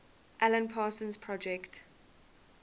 alan parsons project